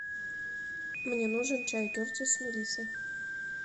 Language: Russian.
мне нужен чай кертис с мелиссой